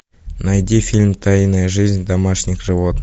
найди фильм тайная жизнь домашних животных